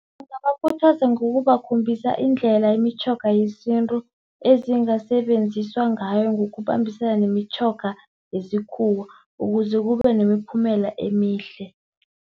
Ngingabakhuthaza ngokubakhombisa indlela imitjhoga yesintu ezingasebenziswa ngayo, ngokubambisana nemitjhoga yesikhuwa ukuze kube nemiphumela emihle.